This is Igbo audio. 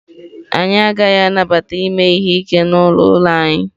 Anyị agaghị anabata ime ihe ike n'ụlọ n'ụlọ anyị.